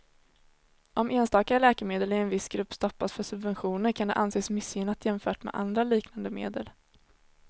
Om enstaka läkemedel i en viss grupp stoppas för subventioner kan det anses missgynnat jämfört med andra liknande medel.